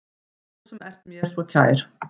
Þú sem ert mér svo kær.